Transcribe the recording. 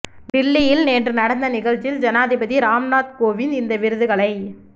டில்லியில் நேற்று நடந்த நிகழ்ச்சியில் ஜனாதிபதி ராம்நாத் கோவிந்த் இந்த விருதுகளை